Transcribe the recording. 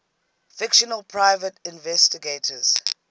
fictional private investigators